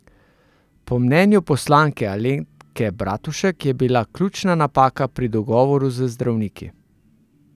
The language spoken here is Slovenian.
Po mnenju poslanke Alenke Bratušek je bila ključna napaka pri dogovoru z zdravniki.